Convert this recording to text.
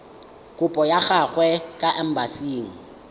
kopo ya gago kwa embasing